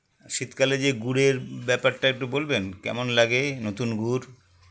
শীতকালে যে গুড়ের ব্যাপারটা একটু বলবেন কেমন লাগে নতুন গুড়